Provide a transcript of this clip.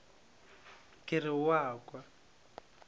ke re o a kwa